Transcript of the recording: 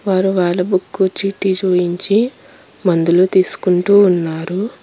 వారు వాళ్ళ బుక్కు చీటీ చూయించి మందులు తీసుకుంటూ ఉన్నారు.